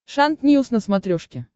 шант ньюс на смотрешке